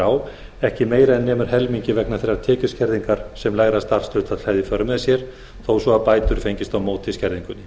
á ekki meira en nemur helmingi vegna þeirrar tekjuskerðingar sem lægra starfshlutfall hefði í för með sér þó svo að bætur fengjust á móti skerðingunni